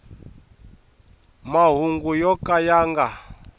mahungu yo ka ya nga